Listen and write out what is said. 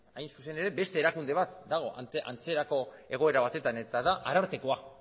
hain zuzen ere beste erakunde bat dago antzerako egoera batetan eta da arartekoa